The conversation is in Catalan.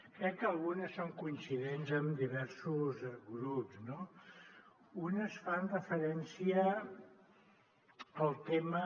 crec que algunes són coincidents amb diversos grups no unes fan referència al tema